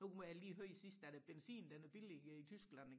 nu hørte jeg lige sidst at benzinen den er billige i Tyskland